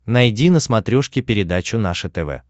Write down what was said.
найди на смотрешке передачу наше тв